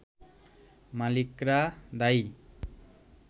মালিকরা দায়ী